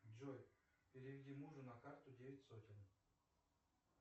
джой переведи мужу на карту девять сотен